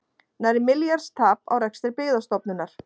Nærri milljarðs tap á rekstri Byggðastofnunar